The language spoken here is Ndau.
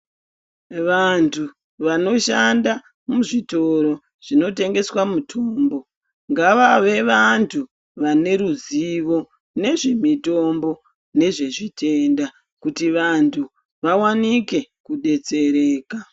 Vantu vanoshanda muzvitoro zvinotengeswa mutombo ngavave vantu vane ruzivo nezvemitombo nezvezvitenda kuti vantu vawanike kudetsereka.